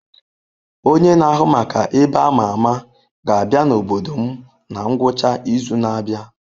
Onye na-ahụ maka ebe a ma ama ga-abịa n'obodo m na ngwụcha izu na-abịa.